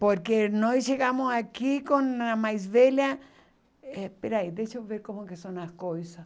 Porque nós chegamos aqui com a mais velha... É, espera aí, deixa eu ver como que são as coisas.